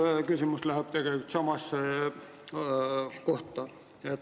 Minu küsimus on tegelikult sama teema kohta.